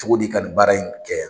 cogo di ka nin baara in kɛ